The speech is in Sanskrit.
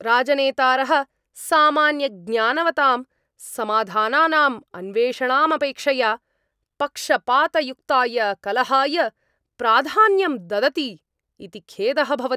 राजनेतारः सामान्यज्ञानवतां समाधानानाम् अन्वेषणापेक्षया पक्षपातयुक्ताय कलहाय प्राधान्यं ददति इति खेदः भवति।